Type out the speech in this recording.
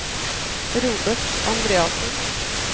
Robert Andreassen